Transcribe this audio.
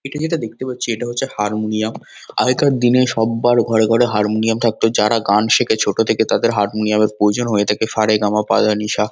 এটা যেটা দেখতে পাচ্ছি এটা হচ্ছে হারমোনিয়াম । আগেকার দিনে সব্বার ঘরে ঘরে হারমোনিয়াম থাকতো । যারা গান শেখে ছোট থেকে তাদের হারমোনিয়াম -এর প্রয়োজন হয়ে থাকে। সা রে গা মা পা ধা নি সা।